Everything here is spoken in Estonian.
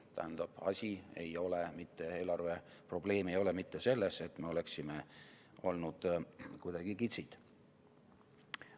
Tähendab, eelarve probleem ei ole mitte selles, et me oleksime olnud kuidagi kitsid.